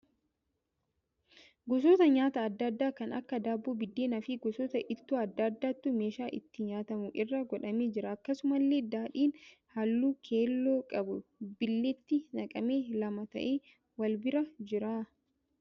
Gosoota nyaata adda addaa kan akka daabboo, biddeena fi gosoota ittoo adda addaatu meeshaa itti nyaatamu irra godhamee jira. Akkasumallee daadhiin halluu keelloo qabu bililleetti naqamee lama ta'ee wal bira jira.